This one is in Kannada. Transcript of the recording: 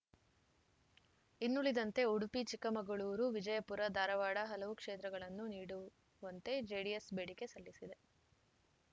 ಇನ್ನುಳಿದಂತೆ ಉಡುಪಿಚಿಕ್ಕಮಗಳೂರು ವಿಜಯಪುರ ಧಾರವಾಡ ಹಲವು ಕ್ಷೇತ್ರಗಳನ್ನು ನೀಡುವಂತೆ ಜೆಡಿಎಸ್‌ ಬೇಡಿಕೆ ಸಲ್ಲಿಸಿದೆ